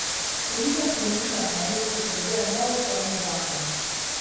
Turizem po njihovem mnenju potrebuje nov krovni zakon.